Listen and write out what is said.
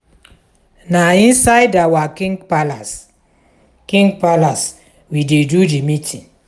na inside our king palace our king palace we dey do di meeting.